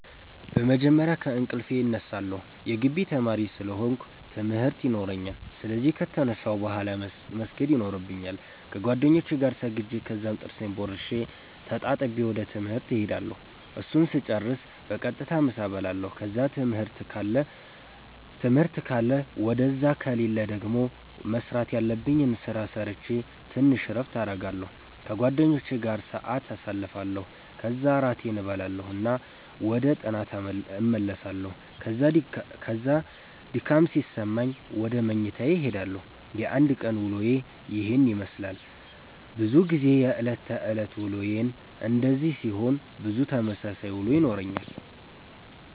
በመጀመርያ ከእንቅልፌ እነሳለሁ የጊቢ ተማሪ ስለ ሆነኩ ትምርት የኖራኛል ስለዚህ ከተነሳሁ ቡሃላ መስገድ የኖርብኛል ከጌደኛዬ ጋር ሰግጄ ከዛም ጥርሴን ቦርሼ ተጣጥቤ ወደ ትምህርት እሄዳለሁ እሱን ስጨርስ በቀጥታ ምሳ እበላለሁ ከዛ ትምህርት ካለ ውደዛ ከሌለ ደገሞ መስራተ ያለብኝን ስራ ሰረቼ ተንሽ እረፍት አረጋለሁ ከጓደኛዬ ጋር ሰአት ኣሳልፋለሁ ከዛ እራቴን እበላና ወደ ጥናተ አመራለሁ ከዛ ድካም ሲሰማኝ ውደ መኝታዬ እሄዳለሁ። የአንድ ቀን ዉሎዬ የሄን የመስላል። በዙ ጊዜ የእለት ተእለት ዉሎዬ እንደዚህ ሲሆን ብዙ ተመሳሳይ ዉሎ ይኖረኛል።